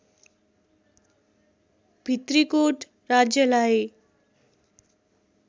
भित्रिकोट राज्यलाई